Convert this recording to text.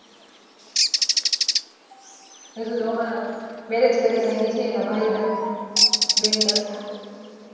હજુ તો હમણાં marriage કરીને આવી છે એના ભાઈ ના બેન ના